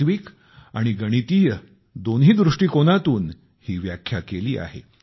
तात्विक आणि गणितीय दोन्ही दृष्टीकोनातून ही व्याख्या केली आहे